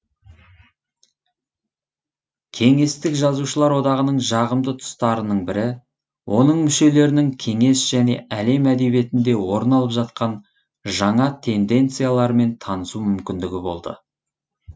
кеңестік жазушылар одағының жағымды тұстарының бірі оның мүшелерінің кеңес және әлем әдебиетінде орын алып жатқан жаңа тенденциялармен танысу мүмкіндігі болды